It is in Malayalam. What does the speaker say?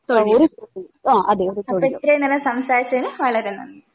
തൊഴിൽ അപ്പ ഇത്രേം നേരം സംസാരിച്ചതിന് വളരെ നന്ദി